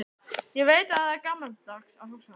Ég veit að það er gamaldags að hugsa þannig.